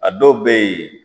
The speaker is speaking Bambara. A dɔw bɛ yen